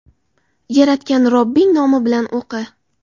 Yaratgan Robbing nomi bilan o‘qi.